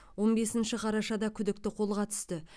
он бесінші қарашада күдікті қолға түсті